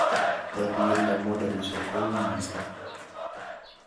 Katuyetab modelishek koui mising